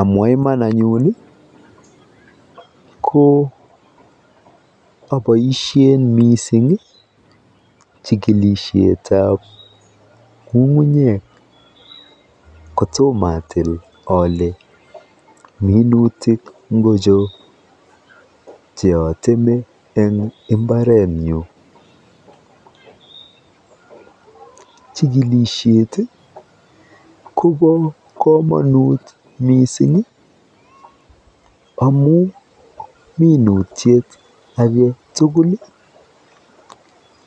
Amwa iman anyun ko oboisie mising chikilisietab ng'ung'unyek kotomatil ole minutik ngocho cheoteme eng mbaretnyu. Chikilisiet kobo komonut mising amu minutiet age tugul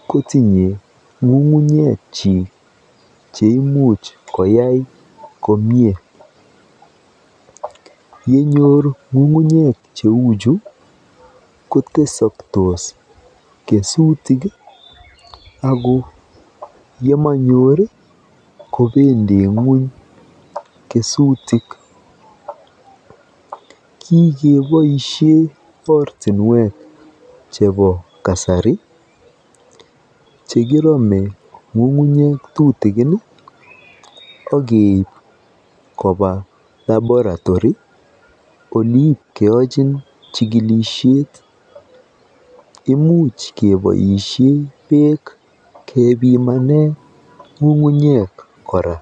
kotinye ng'unguynyekchi cheimuch koyai komie. Yenyor ng'ungunyek cheuchu kotesaktos kesutik ako yemanyor kobendi ng'ony kesutik. Kikeboisie ortinwek chebo kasari chekirome ng'ungunyek tutikin okeib koba Laboratory oleipkeochin chikilisiet. Imuch keboisie beek kechikile ng'ungunyek kora.